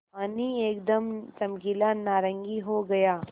पानी एकदम चमकीला नारंगी हो गया